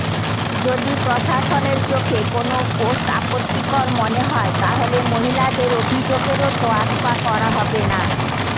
যদি প্রশাসনের চোখে কোনও পোস্ট আপত্তিকর মনে হয় তাহলে মহিলাদের অভিযোগেরও তোয়াক্কা করা হবে না